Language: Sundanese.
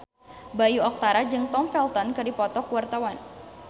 Bayu Octara jeung Tom Felton keur dipoto ku wartawan